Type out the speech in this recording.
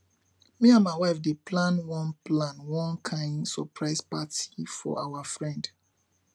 me and my wife dey plan one plan one kain surprise party for our friend